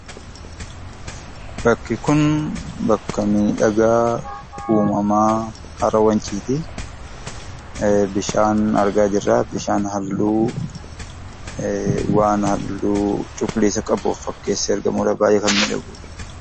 Bakki kun bakka miidhagaa uumamaa hara Wanciiti. Bishaa argaa jirra bishaa halluu waan halluu cuquliisa qabu of fakkeessee baay'ee kan miidhagudha.